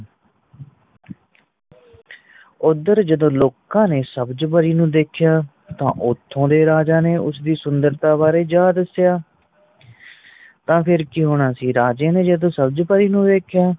ਉਧਰ ਜਦੋ ਲੋਕਾਂ ਨੇ ਸਬਜ ਪਰੀ ਨੂੰ ਦੇਖਿਆ ਤਾਂ ਉਤੇ ਦੇ ਰਾਜਾ ਨੇ ਉਸਦੀ ਸੁੰਦਰਤਾ ਬਾਰੇ ਜਾਂ ਦਸਿਆਂ ਤਾਂ ਫੇਰ ਕਿ ਹੋਣਾ ਸੀ ਰਾਜੇ ਨੇ ਸਬਜ ਪਰੀ ਨੂੰ ਵੇਖਿਆ